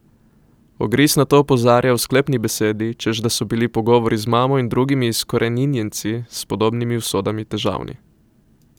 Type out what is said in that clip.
Ogris na to opozarja v sklepni besedi, češ da so bili pogovori z mamo in drugimi izkoreninjenci s podobnimi usodami težavni.